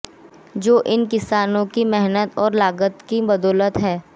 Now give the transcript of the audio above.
जो इन किसानों की मेहनत और लगन के बदौलत है